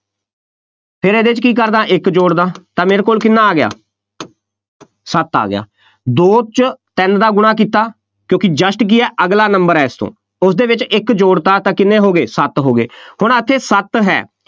ਫੇਰ ਇਹਦੇ 'ਚ ਕੀ ਕਰ ਦਿਆ, ਇੱਕ ਜੋੜ ਦਿਆ ਤਾਂ ਮੇਰੇ ਕੋਲ ਕਿੰਨਾ ਆ ਗਿਆ ਸੱਤ ਆ ਗਿਆ, ਦੋ 'ਚ ਤਿੰਨ ਦਾ ਗੁਣਾ ਕੀਤਾ, ਕਿਉਂਕਿ just ਕੀ ਹੈ, ਅਗਲਾ number ਹੈ ਇਸ ਤੋਂ, ਉਸਦੇ ਵਿੱਚ ਇੱਕ ਜੋੜਤਾ ਤਾਂ ਕਿੰਨੇ ਹੋ ਗਏ, ਸੱਤ ਹੋ ਗਏ, ਹੁਣ ਆਖੇ ਇਹ ਸੱਤ ਹੈ,